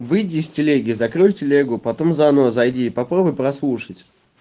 выйди из телеги закройте лего потом заново зайди попробуй прослушать